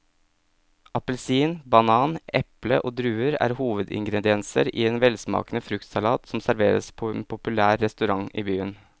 Appelsin, banan, eple og druer er hovedingredienser i en velsmakende fruktsalat som serveres på en populær restaurant i byen.